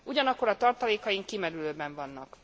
Ugyanakkor a tartalékaink kimerülőben vannak.